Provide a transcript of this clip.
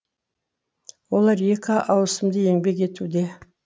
олар екі ауысымды еңбек етуде